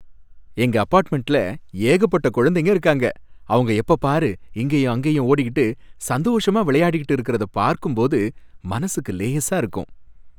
எங்க அப்பார்ட்மெண்ட்ல ஏகப்பட்ட குழந்தைங்க இருக்காங்க. அவங்க எப்பபாரு இங்கேயும் அங்கேயும் ஓடிகிட்டு சந்தோஷமா விளையாடிகிட்டு இருக்கிறத பார்க்கும்போது மனசுக்கு லேசா இருக்கும்.